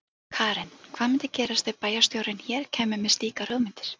Karen: Hvað myndi gerast ef að bæjarstjórinn hér kæmi með slíkar hugmyndir?